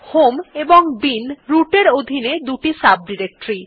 home এবং bin root এর অধীনে দুই সাব ডিরেক্টরী